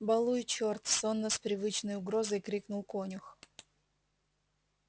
баллуй чёрт сонно с привычной угрозой крикнул конюх